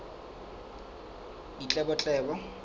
ditletlebo